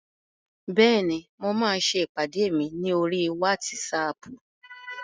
Bẹ́ẹ̀ni, mo máa ṣe ìpàdé mi ní oríi wátísapù